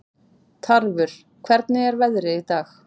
Tarfur, hvernig er veðrið í dag?